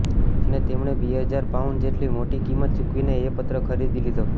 અને તેમણે બે હજાર પાઉન્ડ જેટલી મોટી કિંમત ચૂકવીને એ પત્ર ખરીદી લીધો